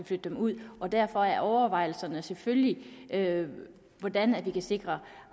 flytte dem ud og derfor er overvejelserne selvfølgelig hvordan vi kan sikre